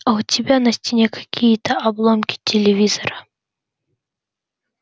а у тебя на стене какие-то обломки телевизора